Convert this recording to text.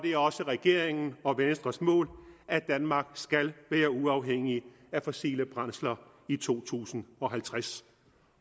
er også regeringen og venstres mål at danmark skal være uafhængigt af fossile brændsler i to tusind og halvtreds